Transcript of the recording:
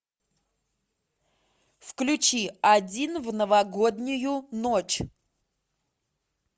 включи один в новогоднюю ночь